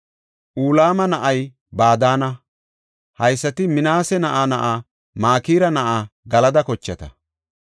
Ulama na7ay Badaana. Haysati Minaase na7aa na7a Makira na7aa Galada kochata.